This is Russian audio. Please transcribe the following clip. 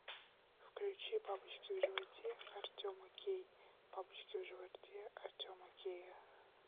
включи бабочки в животе артема кей бабочки в животе артема кея